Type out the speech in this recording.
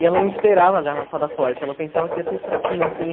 E ela não esperava a garrafada forte, ela pensava que ia ser fraquinha, assim.